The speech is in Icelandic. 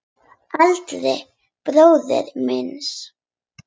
Eldri bróður míns?